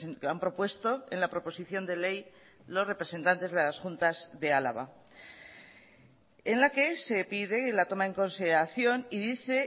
que han propuesto en la proposición de ley los representantes de las juntas de álava en la que se pide la toma en consideración y dice